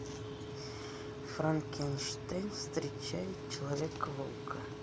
франкенштейн встречает человека волка